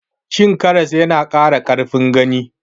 Cin karas ya na ƙara ƙarfin gani